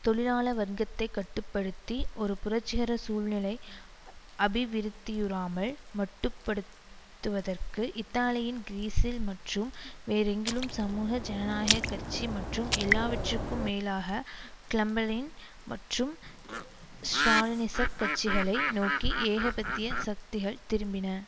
தொழிலாள வர்க்கத்தை கட்டு படுத்தி ஒரு புரட்சிகர சூழ்நிலை அபிவிருத்தியுறாமல் மட்டுப்படுத்துவதற்கு இத்தாலியின் கிரீஸில் மற்றும் வேறெங்கிலும் சமூக ஜனநாயக கட்சி மற்றும் எல்லாவற்றிற்கும் மேலாக கிளம்பெளின் மற்றும் ஸ்ராலினிச கட்சிகளை நோக்கி ஏகபத்திய சக்திகள் திரும்பின